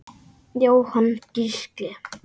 Jóhann Gísli.